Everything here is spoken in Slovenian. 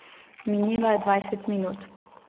Minilo je dvajset minut.